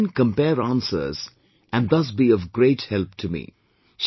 She would then compare answers and thus be of great help to me